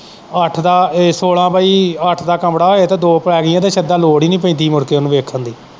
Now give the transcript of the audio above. ਅੱਠ ਦਾ ਏ ਸੋਲਾਂ ਪਾਈ ਅੱਠ ਦਾ ਕਮਰਾ ਹੋਏ ਤੇ ਦੋ ਪੈ ਗਈਆਂ ਤੇ ਸਿੱਧਾ ਲੋੜ ਨੀ ਪੈਂਦੀ ਮੁੜ ਕੇ ਉਹਨੂੰ ਵੇਖਣ ਦੀ।